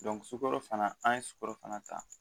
sukaro fana an ye sukorofana ta